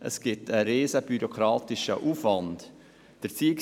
Es wird ein grosser bürokratischer Aufwand generiert.